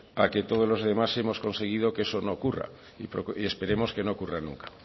a que todos los demás hemos conseguido que eso no ocurre y esperemos que no ocurra nunca